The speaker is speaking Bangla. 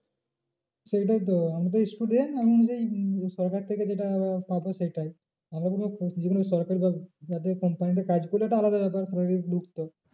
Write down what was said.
সেইটাই তো আমি তো student আমি সরকার থেকে যেটা পাবো সেটাই। যে কোনো সরকারি বা যাদের company তে কাজ করি একটা আলাদা ব্যাপার salary ঢুকতো